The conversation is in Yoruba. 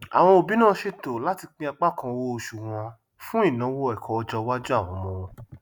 àwọn òbí náà ṣètò láti pín apá kan owó oṣù wọn fún ìnáwó ẹkọ ọjọwájú àwọn ọmọ wọn